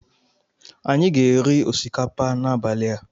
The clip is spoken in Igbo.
Anyị ga-eri osikapa n'abalị a.